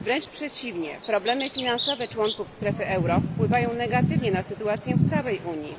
Wręcz przeciwnie, problemy finansowe członków strefy euro wpływają negatywnie na sytuację w całej Unii.